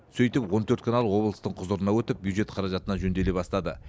сөйтіп он төрт канал облыстың құзырына өтіп бюджет қаражатына жөнделе бастады